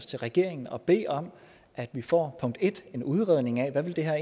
til regeringen og bede om at vi får en udredning af hvad det her